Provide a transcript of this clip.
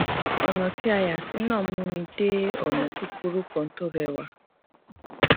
ònà tí a yà sí náà mú mi dé ònà kúkúrú kan tó réwà